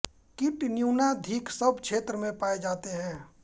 कीट न्यूनाधिक सब क्षेत्रों में पाए जाते हैं